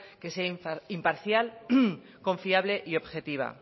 que sea imparcial confiable y objetiva